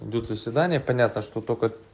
будут заседания понятно что только